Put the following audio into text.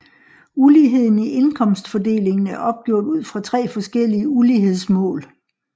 Uligheden i indkomstfordelingen er opgjort ud fra tre forskellige ulighedsmål